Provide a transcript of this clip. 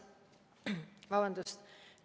Vabandust!